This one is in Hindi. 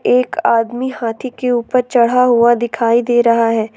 एक आदमी हाथी के ऊपर चढ़ा हुआ दिखाई दे रहा है।